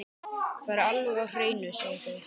Það er alveg á hreinu, segja þau.